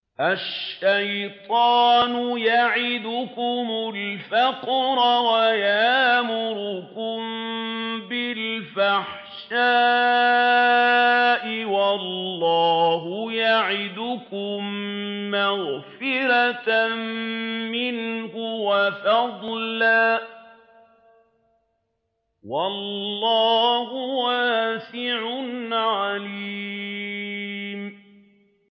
الشَّيْطَانُ يَعِدُكُمُ الْفَقْرَ وَيَأْمُرُكُم بِالْفَحْشَاءِ ۖ وَاللَّهُ يَعِدُكُم مَّغْفِرَةً مِّنْهُ وَفَضْلًا ۗ وَاللَّهُ وَاسِعٌ عَلِيمٌ